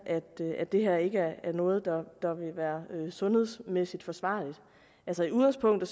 at det her ikke er noget der vil være sundhedsmæssigt forsvarligt altså i udgangspunktet